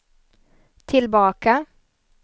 tillbaka